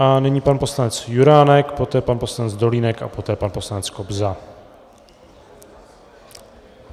A nyní pan poslanec Juránek, poté pan poslanec Dolínek a poté pan poslanec Kobza.